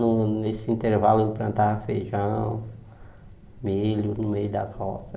Num nesse intervalo ele plantava feijão, milho no meio das roças.